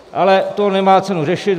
Ale to nemá cenu řešit.